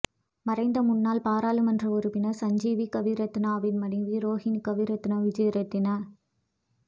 மறைந்த முன்னாள் பராளுமன்ற உறுப்பினர் சஞ்சீவ கவிரத்னவின் மனைவி ரோஹினி கவிரத்ன விஜேரத்ன